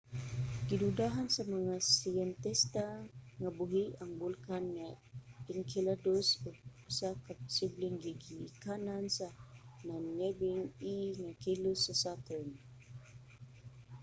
gidudahan sa mga siyentista nga buhi nga bulkan ang enceladus ug usa ka posibleng gigikanan sa nagniyebeng e nga likos sa saturn